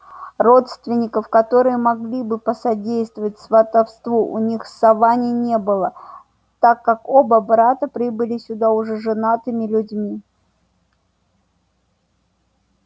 родственников которые могли бы посодействовать сватовству у них в саванне не было так как оба брата прибыли сюда уже женатыми людьми